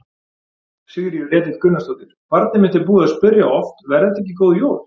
Sigríður Edith Gunnarsdóttir: Barnið mitt er búið að spyrja oft: Verða þetta ekki góð jól?